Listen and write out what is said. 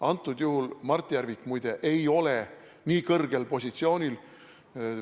Antud juhul Mart Järvik, muide, ei ole nii kõrgel positsioonil.